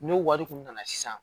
N'o wari kun nana sisan